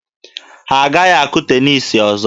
Ha agaghị akụ teniisi ọzọ.